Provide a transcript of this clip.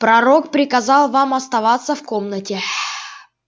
пророк приказал вам оставаться в комнате